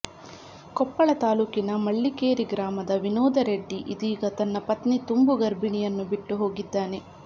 ಕೊಪ್ಪಳ ತಾಲೂಕಿನ ಮೆಳ್ಳಿಕೇರಿ ಗ್ರಾಮದ ವಿನೋದ ರೆಡ್ಡಿ ಇದೀಗ ತನ್ನ ಪತ್ನಿ ತುಂಬು ಗರ್ಭಿಣಿಯನ್ನು ಬಿಟ್ಟು ಹೋಗಿದ್ದಾನೆ